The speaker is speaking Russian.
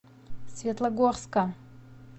светлогорска